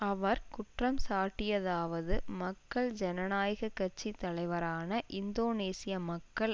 அவர் குற்றம் சாட்டியதாவது மக்கள் ஜனநாயக கட்சி தலைவரான இந்தோனேசிய மக்கள்